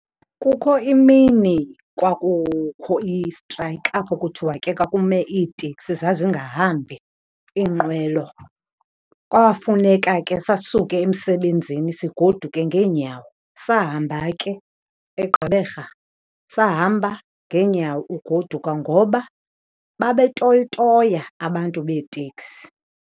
Kukho imini kwakukho i-strike apho kuthiwa ke kwakume iiteksi, zazingahambi iinqwelo. Kwafuneka ke sisuke emsebenzini sigoduke ngeenyawo. Sahamba ke eGqeberha sahamba ngeenyawo ugoduka ngoba babetoyitoya abantu beeteksi.